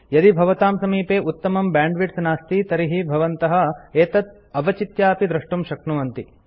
यदि भवतां समीपे उत्तमं बैंडविड्थ नास्ति तर्हि भवन्तः एतत् अवचित्यापि डाउनलोड द्रष्टुं शक्नुवन्ति